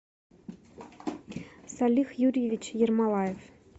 салих юрьевич ермолаев